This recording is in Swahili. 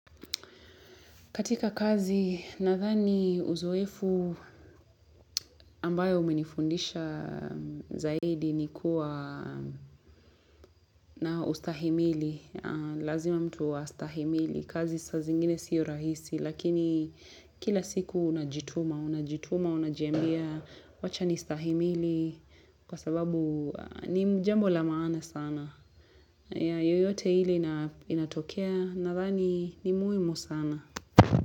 Katika kazi, nathani uzoefu ambayo umenifundisha zaidi ni kuwa na ustahimili. Lazima mtu wa ustahimili. Kazi sa zingine sio rahisi, lakini kila siku unajituma. Unajituma, unajiambia, wacha nistahimili. Kwa sababu ni jambo la maana sana. Yoyote ile inatokea, nathani ni muhimu sana.